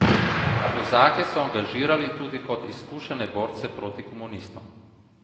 Kozake so angažirali tudi kot izkušene borce proti komunistom.